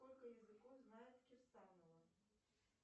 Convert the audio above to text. сколько языков знает кирсанова